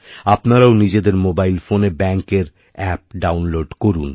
আপনারাও নিজেদের মোবাইল ফোনে ব্যাঙ্কএর অ্যাপ ডাউনলোড করুন